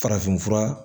Farafin fura